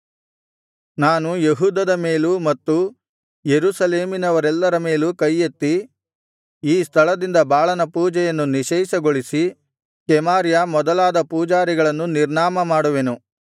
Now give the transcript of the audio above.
ನಾನು ಯೆಹೂದದ ಮೇಲೂ ಮತ್ತು ಯೆರೂಸಲೇಮಿನವರೆಲ್ಲರ ಮೇಲೂ ಕೈಯೆತ್ತಿ ಈ ಸ್ಥಳದಿಂದ ಬಾಳನ ಪೂಜೆಯನ್ನು ನಿಶ್ಶೇಷಗೊಳಿಸಿ ಕೆಮಾರ್ಯ ಮೊದಲಾದ ಪೂಜಾರಿಗಳನ್ನು ನಿರ್ನಾಮ ಮಾಡುವೆನು